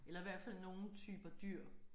Eller hvert fald nogen typer dyr